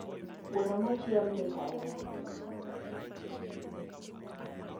Gweno mochiel mit ahinya